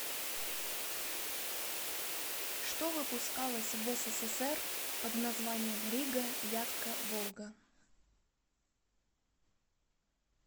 что выпускалось в ссср под названием рига вятка волга